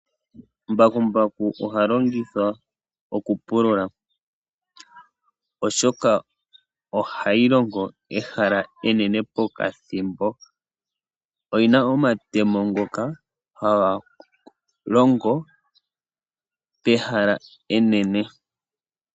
Mbakumbaku ohalongithwa okupulula oshoka ohalongo ehala enene pokathimbo. Oyi na omatemo ngoka haga longo pehala enene.